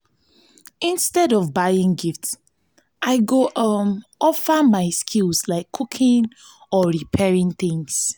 instead of buying gift i go um offer my skills like cooking or repairing things.